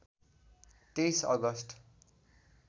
२३ August